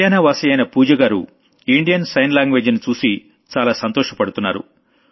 హర్యానా వాసియైన పూజగారు Indian sign language ని చూసి చాలా సంతోషపడుతున్నారు